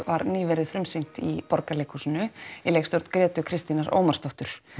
var nýverið frumsýnt í Borgarleikhúsinu í leikstjórn Grétu Kristínar Ómarsdóttur